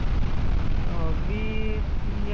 V ವಿ ಏನೋ